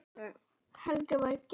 Helgi hvetur Gerði óspart.